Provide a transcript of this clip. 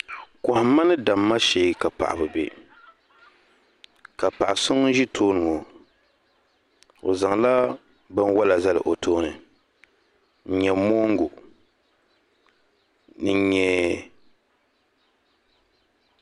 kohima ni dama she ka paɣ' bi bɛ ka paɣ' so ŋunzitoni ŋɔ o zaŋla binwala zali o tooni n nyɛ moogu ni n nyɛ